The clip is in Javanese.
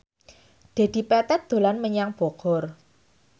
Dedi Petet dolan menyang Bogor